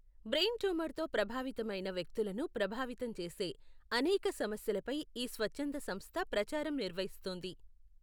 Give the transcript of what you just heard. Brain ట్యూమర్తో ప్రభావితమైన వ్యక్తులను ప్రభావితం చేసే, అనేక సమస్యలపై ఈ స్వచ్ఛంద సంస్థ ప్రచారం నిర్వహిస్తుంది.